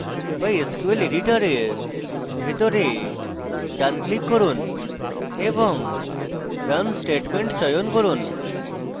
বা sql editor ভেতরে ডান click run এবং run statement চয়ন run